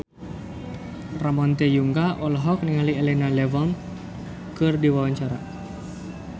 Ramon T. Yungka olohok ningali Elena Levon keur diwawancara